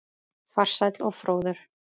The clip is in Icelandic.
Farsæll og fróður.